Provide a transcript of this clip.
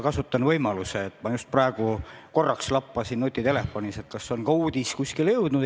Kasutan võimalust ja ütlen, et ma just praegu korraks lappasin nutitelefonis ja vaatasin, kas üks uudis on ka kuskile jõudnud.